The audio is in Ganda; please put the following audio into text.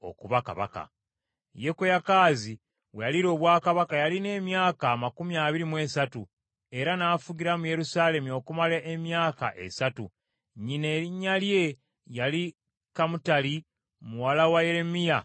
Yekoyakaazi we yaliira obwakabaka yalina emyaka amakumi abiri mu esatu, era n’afugira mu Yerusaalemi okumala emyezi esatu. Nnyina erinnya lye yali Kamutali muwala wa Yeremiya ow’e Libuna.